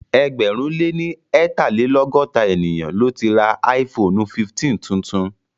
Ẹgbẹ̀rún lé ní eetalelogota ènìyàn tò láti ra áífoonu 15 tuntun